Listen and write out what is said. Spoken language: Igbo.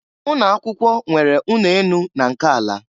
Ụnọ akwụkwọ nwere ụnọ enu na nke ala.